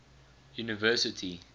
university